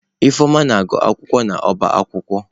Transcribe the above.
Ifeoma na-agu akwụkwọ n'ọbá akwukwo.